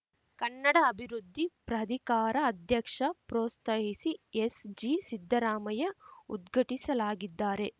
ಕನ್ನಡ ಅಭಿವೃದ್ಧಿ ಪ್ರಾಧಿಕಾರ ಅಧ್ಯಕ್ಷ ಪ್ರೊತ್ಸಾಹಿಸಿಎಸ್‌ಜಿ ಸಿದ್ದರಾಮಯ್ಯ ಉದ್ಘಟಿಸಲಾಗಿದ್ದಾರೆ